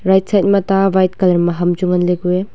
right side ma ta white colour ma ham chu nganlay kuu ay.